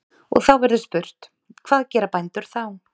Og þá verður spurt: hvað gera bændur þá?